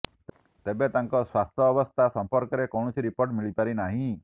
ତେବେ ତାଙ୍କ ସ୍ୱାସ୍ଥ୍ୟାବସ୍ଥା ସମ୍ପର୍କରେ କୌଣସି ରିପୋର୍ଟ ମିଳିପାରି ନାହିଁ